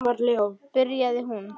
byrjaði hún.